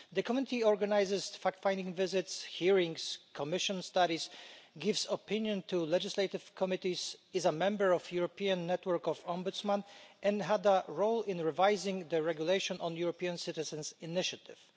The Committee organises fact finding visits and hearings, commissions studies, gives opinions to legislative committees, is a member of the European network of Ombudsmen, and had a role in revising the regulation on the European citizens' initiative.